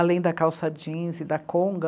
Além da calça jeans e da conga.